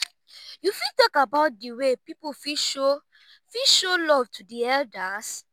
you fit talk about di way people fit show fit show love to di elders?